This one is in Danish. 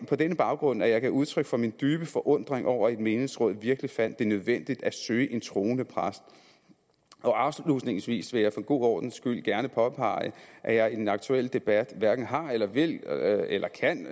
på denne baggrund at jeg gav udtryk for min dybe forundring over at et menighedsråd virkelig fandt det nødvendigt at søge en troende præst afslutningsvis vil jeg for god ordens skyld gerne påpege at jeg i den aktuelle debat hverken har eller vil eller kan